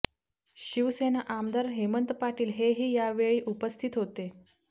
शिवसेना आमदार हेमंत पाटील हे ही यावेळी उपस्थित होते